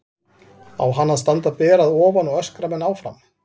Á hann að standa ber að ofan og öskra menn áfram?